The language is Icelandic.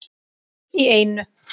Í einu!